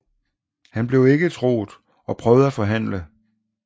Han blev ikke troet og prøvede at forhandle